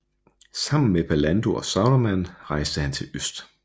Sammen med Pallando og Saruman rejste han til øst